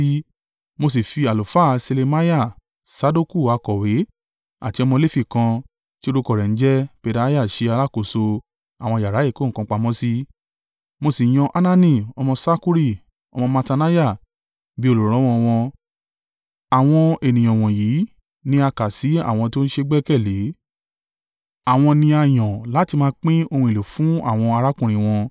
Mo sì fi àlùfáà Ṣelemiah, Sadoku akọ̀wé àti ọmọ Lefi kan tí orúkọ rẹ̀ ń jẹ́ Pedaiah ṣe alákòóso àwọn yàrá ìkó nǹkan pamọ́ sí. Mo sì yan Hanani ọmọ Sakkuri, ọmọ Mattaniah bí olùrànlọ́wọ́ ọ wọn. Àwọn ènìyàn wọ̀nyí ni a kà sí àwọn tó ṣé e gbẹ́kẹ̀lé. Àwọn ni a yàn láti máa pín ohun èlò fún àwọn arákùnrin wọn.